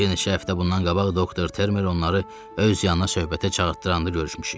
Bir neçə həftə bundan qabaq Doktor Termer onları öz yanına söhbətə çağırdıranda görüşmüşük.